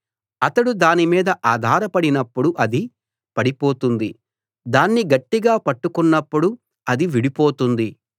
అతడు దాని మీద ఆధారపడినప్పుడు అది పడిపోతుంది దాన్ని గట్టిగా పట్టుకున్నప్పుడు అది విడిపోతుంది